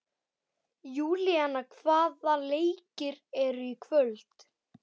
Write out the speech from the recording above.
Júlíana, hvaða leikir eru í kvöld?